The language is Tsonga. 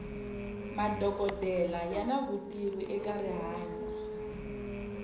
madokodela yana vutivi eka rihanyo